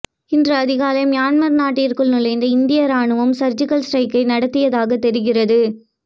இன்று அதிகாலை மியான்மர் நாட்டிற்குள் நுழைந்து இந்திய ராணுவம் சர்ஜிகல் ஸ்டிரைக் நடத்தியதாக தெரிகிறது